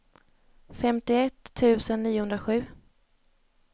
femtioett tusen niohundrasju